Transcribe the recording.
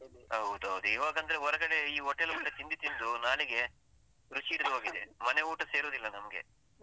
ಹೌದೌದು, ಇವಾಗ ಅಂದ್ರೆ ಹೊರಗಡೆ ಈ ಹೋಟೆಲಲ್ಲೆಲ್ಲ ತಿಂದು ತಿಂದು ನಾಲಿಗೆ ರುಚಿ ಹಿಡ್ದು ಹೋಗಿದೆ, ಮನೆ ಊಟ ಸೇರುದಿಲ್ಲ ನಮ್ಗೆ.